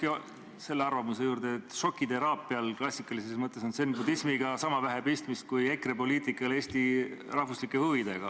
Jään siiski selle arvamuse juurde, et šokiteraapial klassikalises mõttes on zen-budismiga sama vähe pistmist kui EKRE poliitikal Eesti rahvuslike huvidega.